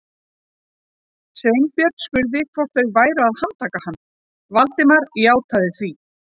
Sveinbjörn spurði hvort þau væru að handtaka hann, Valdimar játaði því.